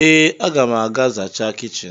Ee, a ga m aga zachaa kichin.